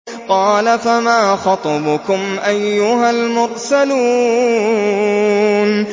قَالَ فَمَا خَطْبُكُمْ أَيُّهَا الْمُرْسَلُونَ